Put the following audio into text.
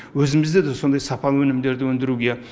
өзімізде де сондай сапа өнімдерді өндіруге